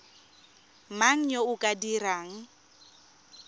mang yo o ka dirang